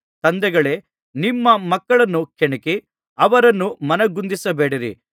ತಂದೆಗಳೇ ನಿಮ್ಮ ಮಕ್ಕಳನ್ನು ಕೆಣಕಿ ಅವರನ್ನು ಮನಗುಂದಿಸಿಬೇಡಿರಿ